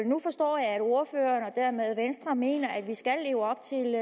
nu forstår jeg at ordføreren og dermed venstre mener at vi skal leve op til